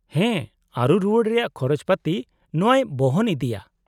-ᱦᱮᱸ, ᱟᱹᱨᱩ ᱨᱩᱣᱟᱹᱲ ᱨᱮᱭᱟᱜ ᱠᱷᱚᱨᱚᱪ ᱯᱟᱹᱛᱤ ᱱᱚᱶᱟᱭ ᱵᱚᱦᱚᱱ ᱤᱫᱤᱭᱟ ᱾